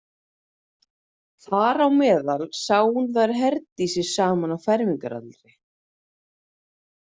Þar á meðal sá hún þær Herdísi saman á fermingaraldri.